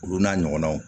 Olu n'a ɲɔgɔnaw